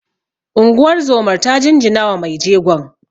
Unguwar zomar ta jinjinawa mai jegon